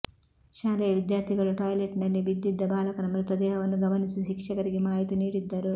ಶಾಲೆಯ ವಿದ್ಯಾರ್ಥಿಗಳು ಟಾಯ್ಲೆಟ್ ನಲ್ಲಿ ಬಿದ್ದಿದ್ದ ಬಾಲಕನ ಮೃತದೇಹವನ್ನು ಗಮನಿಸಿ ಶಿಕ್ಷಕರಿಗೆ ಮಾಹಿತಿ ನೀಡಿದ್ದರು